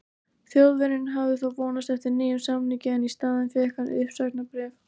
Þjóðverjinn hafði þó vonast eftir nýjum samningi en í staðinn fékk hann uppsagnarbréf.